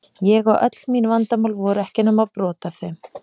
Ég og öll mín vandamál voru ekki nema brot af þeirra.